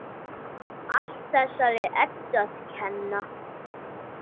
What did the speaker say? Allt þessari Eddu að kenna!